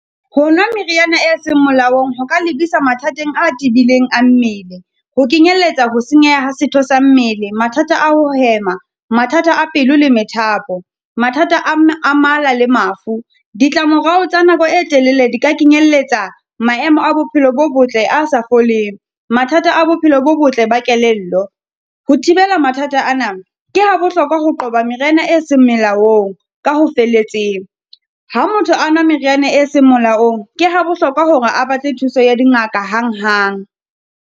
Ho nwa meriana e seng molaong, ho ka lebisa mathateng a tebileng a mmele, ho kenyelletsa ho senyeha ha setho sa mmele, mathata a ho hema, mathata a pelo le methapo, mathata a mala le mafu. Ditlamorao tsa nako e telele di ka kenyelletsa maemo a bophelo bo botle a sa foleng. Mathata a bophelo bo botle ba kelello. Ho thibela mathata ana, ke ha bohlokwa ho qoba meriana e seng molaong, ka ho felletseng. Ha motho a nwa meriana e seng molaong, ke ha bohlokwa hore a batle thuso ya dingaka hang hang.